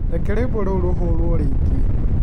Reke rwĩmbo rũrũ rũhurwo rĩngĩ.